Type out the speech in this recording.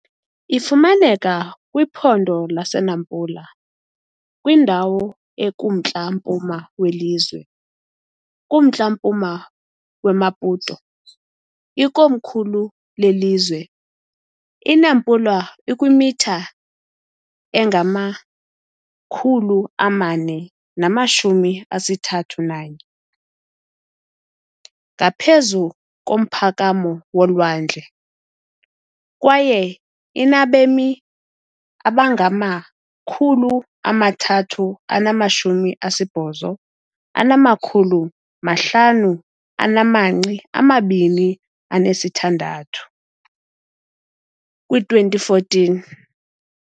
Ifumaneka kwiphondo laseNampula, kwindawo ekumntla-mpuma welizwe, kumntla-mpuma weMaputo, ikomkhulu lelizwe. INampula ikwimitha engama-431 ngaphezu komphakamo wolwandle, kwaye inabemi abangama-388,526, kwi-2014.